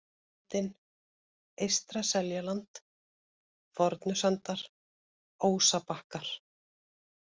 Sel-Bitinn, Eystra-Seljaland, Fornusandar, Ósabakkar